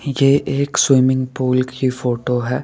ये एक swimming pool की फोटो है।